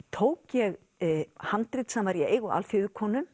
tók ég handrit sem var í eigu